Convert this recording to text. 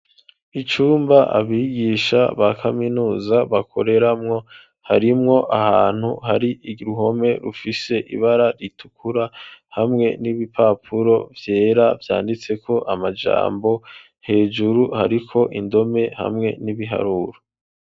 Icumba abigisha ba kaminuza bakoreramwo harimwo ahantu hari iruhome rufise ibara ritukura hamwe n'ibipapuro vyera vyanditseko amajambo hejuru hariko indome hamwe n'ibiharuro.